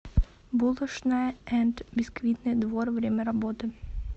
булошная энд бисквитный двор время работы